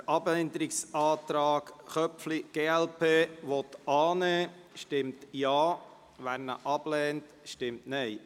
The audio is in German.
Wer den Abänderungsantrag glp/Köpfli, annehmen will, stimmt Ja, wer diesen ablehnt, stimmt Nein.